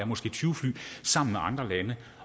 måske tyve fly sammen med andre lande